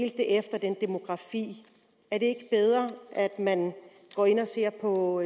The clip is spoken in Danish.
efter demografien er det bedre at man går ind og ser på